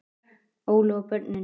Óli og börnin.